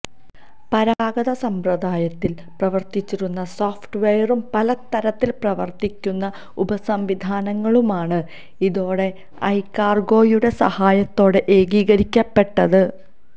പരമ്പരാഗത സമ്പ്രദായത്തിൽ പ്രവർത്തിച്ചിരുന്ന സോഫ്റ്റ് വെയറും പല തരത്തിൽ പ്രവർത്തിക്കുന്ന ഉപസംവിധാനങ്ങളുമാണ് ഇതോടെ ഐകാർഗോയുടെ സഹായത്തോടെ ഏകീകരിക്കപ്പെട്ടത്